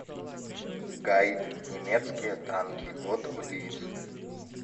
гайд немецкие танки вот блиц